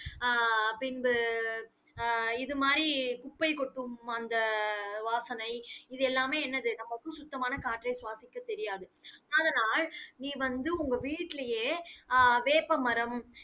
அஹ் அஹ் அஹ் பின்பு அஹ் இது மாதிரி குப்பை கொட்டும் அந்த வாசனை இது எல்லாமே என்னது? நமக்கு சுத்தமான காற்றை சுவாசிக்க தெரியாது. அதனால், நீ வந்து உங்க வீட்டிலேயே அஹ் வேப்பமரம்